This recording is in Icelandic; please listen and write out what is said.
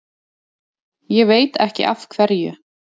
Ég veit ekki af hverju.